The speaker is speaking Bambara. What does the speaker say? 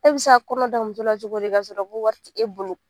E bɛ se ka kɔnɔ da muso la cogo di kasɔrɔ ko wari ti e bolo